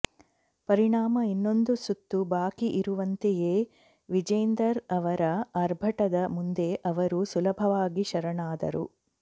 ಪರಿಣಾಮ ಇನ್ನೊಂದು ಸುತ್ತು ಬಾಕಿ ಇರುವಂತೆಯೇ ವಿಜೇಂದರ್ ಅವರ ಆರ್ಭಟದ ಮುಂದೆ ಅವರು ಸುಲಭವಾಗಿ ಶರಣಾದರು